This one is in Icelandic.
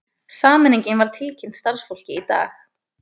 Sameiningin var tilkynnt starfsfólki í dag